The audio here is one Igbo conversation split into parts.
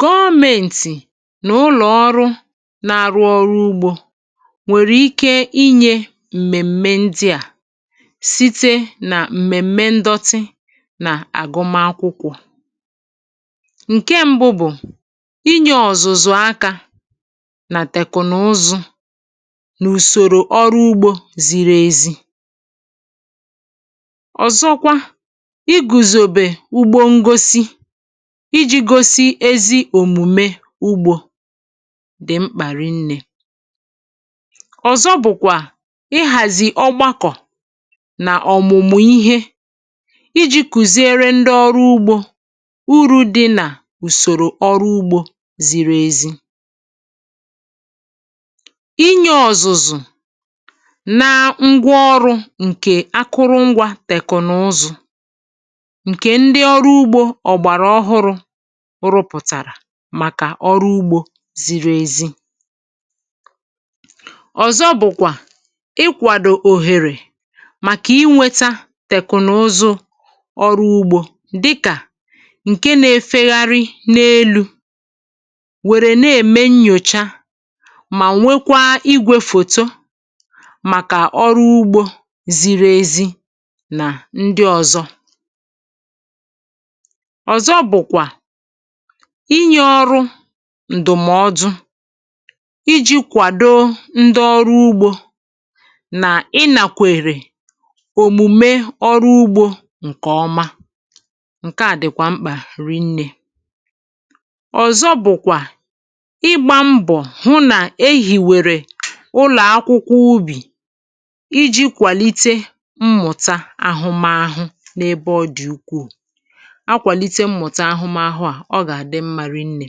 Gọọmentì n’ụlọ̀ ọrụ na-arụ ọrụ ugbȯ nwèrè ike inyė m̀mèm̀mè ndị à site nà m̀mèm̀mè ndọtị nà àgụmakwụkwọ̀ ǹke ṁbụ̇ bụ̀ inyė ọ̀zụ̀zụ̀ aka nà tèkùnụzụ nà ùsòrò ọrụ ugbȯ ziri ezi ọzọkwa iguzobe ugbo ngosi iji̇ gosi ezi òmùme ugbȯ dị̀ mkpàrị nnė ọ̀zọ bụ̀kwà ịhàzị̀ ọgbakọ̀ nà ọ̀mụ̀mụ̀ ihe iji̇ kùziere ndị ọrụ ugbȯ urù dị nà ùsòrò ọrụ ugbȯ ziri ezi inyė ọ̀zụ̀zụ̀ nà ǹgwaọrụ ǹkè akụrụngwȧ tèkụ̀nụzụ̀ nke ndi ọrụ ugbo ọgbara ọhụ ụrụ̇ pụ̀tàrà màkà ọrụ ugbȯ ziri ezi ọ̀zọ bụ̀kwà ikwàdò òhèrè màkà inweta tèkùnụzụ ọrụ ugbȯ dịkà ǹke na-efegharị n’elu̇ nwèrè na-ème nnyòcha mà nwekwaa igwėfòto màkà ọrụ ugbȯ ziri ezi nà ndị ọ̀zọ ọzọ bụkwa inyė ọrụ ǹdùmọdụ iji̇ kwàdo ndị ọrụ ugbȯ nà ị nàkwèrè òmùme ọrụ ugbȯ ǹkè ọma ǹke à dị̀kwà mkpà rinnė ọ̀zọ bụ̀kwà ịgbȧ mbọ̀ hụ nà e hìwèrè ụlọ̀ akwụkwọ ubì iji̇ kwàlite mmụ̀ta ahụmahụ n’ebe ọ dị̀ ukwù nkwalite ahụmahụ a ọ gà-àdị mma rinnė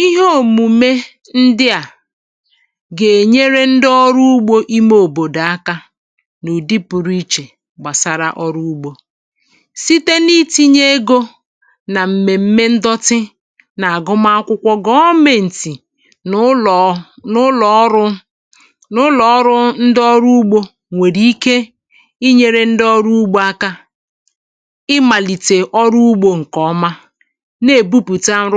ihe òmùme ndị à gà-ènyere ndị ọrụ ugbȯ ime òbòdò aka nà ụ̀dị pụrụ ichè gbàsara ọrụ ugbȯ site n’itinye egȯ nà m̀mèm̀mè ndote nà-àgụma akwụkwọ gọọmėntị̀ n’ụlọ̀ n’ụlọ̀ ọrụ n’ụlọ̀ ndị ọrụ ugbȯ nwèrè ike inyėre ndị ọrụ ugbȯ aka ịmalite ọrụ ugbo nke oma na-èbupùta nrụ.